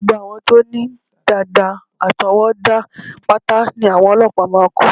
Gbogbo àwọn tó ní dàdà àtọwọ́dá pátá ní àwọn ọlọ́pàá máa kó